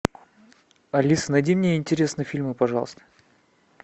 алиса найди мне интересные фильмы пожалуйста